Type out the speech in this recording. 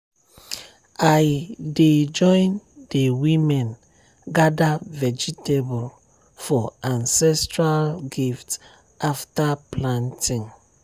i dey join the women gather vegetable for ancestral gift after planting.